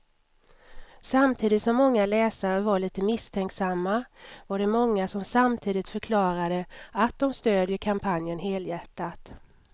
Samtidigt som många läsare var lite misstänksamma var det många som samtidigt förklarade att de stödjer kampanjen helhjärtat.